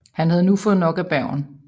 Han havde nu fået nok af Bergen